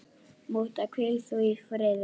Mútta, hvíl þú í friði.